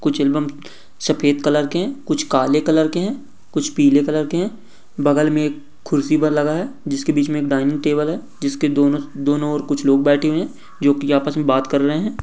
कुछ एल्बम सफेद कलर के हैं कुछ काले कलर के हैं कुछ पीले कलर के हैं बगल में एक कुर्सी पर लगा है जिसके बीच में एक डाइनिंग टेबल है जिसके दोनों-दोनों और कुछ लोग बैठे हुए हैं जो कि आपस में बात कर रहे हैं।